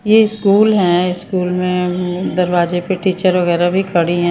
ये स्कूल है स्कूल मे उम दरवाजे पे टीचर वगैरा भी खड़ी है ।